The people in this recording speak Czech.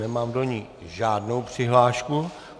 Nemám do ní žádnou přihlášku.